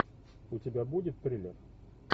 у тебя будет триллер